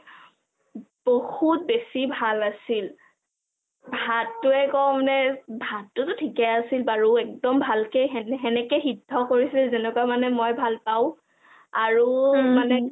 বহুত বেছি ভাল আছিল, ভাতটোৱে কম নে ভাতটো ঠিকে আছিল বাৰু একদম ভালকে হেনেকে সিধ কৰিছিল যেনেকোৱা মই ভাল পাও আৰু মানে কি